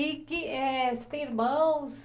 E que eh, você tem irmãos?